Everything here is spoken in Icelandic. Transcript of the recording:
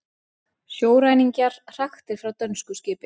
Sjóræningjar hraktir frá dönsku skipi